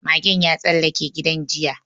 Magen ya tsallake gidan jiya